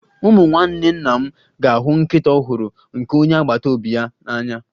Ụmụ nwanne nna m ga-ahụ nkịta ọhụrụ nke onye agbata obi ya n'anya